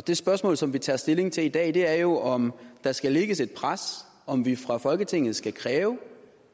det spørgsmål som vi tager stilling til i dag er jo om der skal lægges et pres om vi fra folketingets side skal kræve